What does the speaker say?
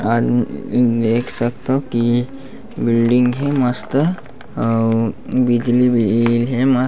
अरर उम्म देख सकथाव की ये बिल्डिंग हे मस्त अऊ बिजली भी हे मस्त--